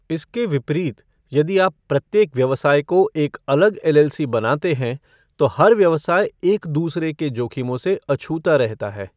इसके विपरीत, यदि आप प्रत्येक व्यवसाय को एक अलग एलएलसी बनाते हैं, तो हर व्यवसाय एक दूसरे के जोखिमों से अछूता रहता है।